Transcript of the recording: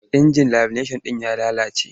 Injin lamineshan ɗin ya lalace.